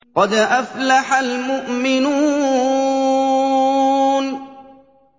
قَدْ أَفْلَحَ الْمُؤْمِنُونَ